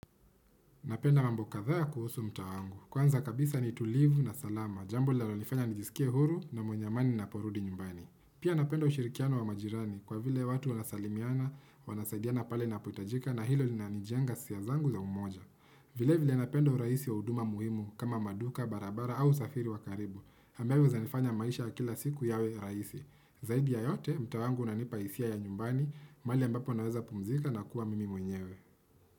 Napenda mambo kathaa ya kuhusu mtaa wangu. Kwanza kabisa ni tulivu na salama. Jambu lalonifanya nijisikie huru na mwenye amani ninaporudi nyumbani. Pia napenda ushirikiano wa majirani kwa vile watu wanasalimiana, wanasaidiana pale inapohitajika na hilo linaliijenga hisia zangu za umoja. Vile vile napenda urahisi wa huduma muhimu kama maduka, barabara au usafiri wa karibu. Ambazo zananifanya maisha ya kila siku yawe rahsi. Zaidi ya yote, mtaa wangu unanipa hisia ya nyumbani, mahali ambapo naweza pumzika na kuwa mimi mwenyewe.